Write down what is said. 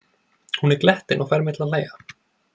Hún er glettin og fær mig til að hlæja.